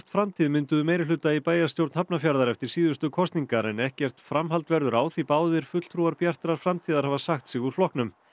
framtíð mynduðu meirihluta í bæjarstjórn Hafnarfjarðar eftir síðustu kosningar en ekkert framhald verður á því báðir fulltrúar Bjartrar framtíðar hafa sagt sig úr flokknum